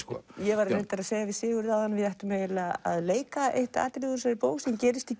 ég var reyndar að segja við Sigurð áðan að við ættum eiginlega að leika eitt atriðið úr þessari bók sem gerist í